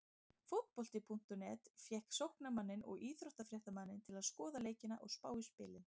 Fótbolti.net fékk sóknarmanninn og íþróttafréttamanninn til að skoða leikina og spá í spilin.